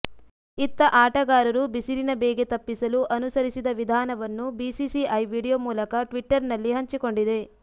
ಇತ್ತ ಆಟಗಾರರು ಬಿಸಿಲಿನ ಬೇಗೆ ತಪ್ಪಿಸಲು ಅನುಸರಿಸಿದ ವಿಧಾನವನ್ನು ಬಿಸಿಸಿಐ ವೀಡಿಯೋ ಮೂಲಕ ಟ್ವಿಟ್ಟರ್ ನಲ್ಲಿ ಹಂಚಿಕೊಂಡಿದೆ